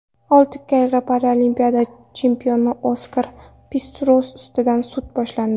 Olti karra paralimpiya chempioni Oskar Pistorius ustidan sud boshlandi.